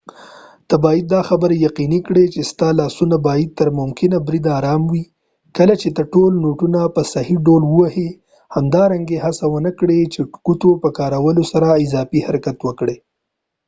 ته باید دا خبره یقینی کړي چې ستا لاسونه باید تر ممکن بریده ارام وي کله چې ته ټول نوټونه په صحیح ډول وهی همدارنګه هڅه ونه کړي چې ګوتو په کارولو سره اضافی حرکت وکړي